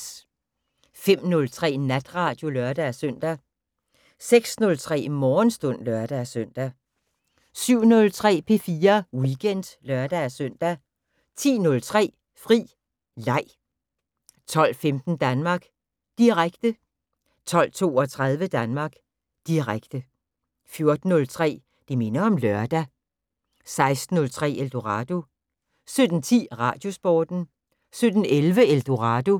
05:03: Natradio (lør-søn) 06:03: Morgenstund (lør-søn) 07:03: P4 Weekend (lør-søn) 10:03: Fri Leg 12:15: Danmark Direkte 12:32: Danmark Direkte 14:03: Det minder om lørdag 16:03: Eldorado 17:10: Radiosporten 17:11: Eldorado